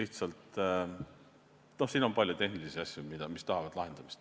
Siin on palju tehnilisi asju, mis tahavad lahendamist.